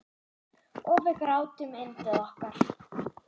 Og við grátum yndið okkar.